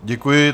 Děkuji.